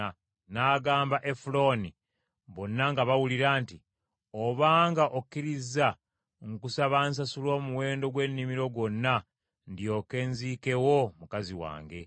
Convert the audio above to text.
N’agamba Efulooni, bonna nga bawulira nti, “Obanga okkirizza, nkusaba nsasule omuwendo gw’ennimiro gwonna ndyoke nziikewo mukazi wange.”